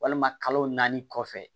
Walima kalo naani kɔfɛ